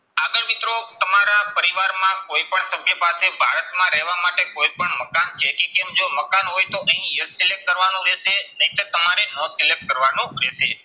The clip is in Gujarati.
આગળ મિત્રો તમારા પરિવારમાં કોઈ પણ સભ્ય પાસે માં રહેવા માટે કોઈ પણ મકાન જો મકાન હોય તો અહીં એક select કરવાનું રહેશે. નહીંતર તમારે હ select કરવાનું રહેશે.